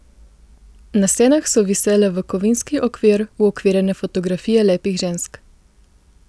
Na stenah so visele v kovinski okvir uokvirjene fotografije lepih žensk.